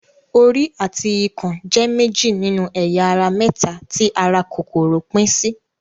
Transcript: Orí àti ikùn jẹ́ méjì nínú ẹ̀yà ara mẹ́ta tí ara kòkòrò pín sí.